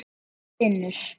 Mamma stynur.